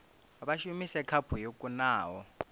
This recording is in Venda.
vha shumise khaphu yo kunaho